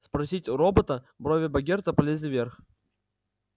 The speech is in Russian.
спросить у робота брови богерта полезли вверх